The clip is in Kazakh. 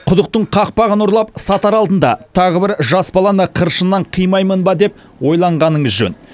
құдықтың қақпағын ұрлап сатар алдында тағы бір жас баланы қыршыннан қимаймын ба деп ойланғаныңыз жөн